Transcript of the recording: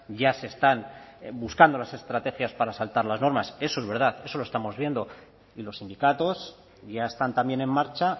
ya se están buscando las estrategias para saltar las normas eso es verdad eso lo estamos viendo y los sindicatos ya están también en marcha